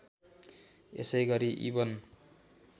यसै गरि इबन